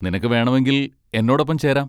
നിനക്ക് വേണമെങ്കിൽ എന്നോടൊപ്പം ചേരാം.